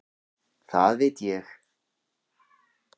Það veit ég.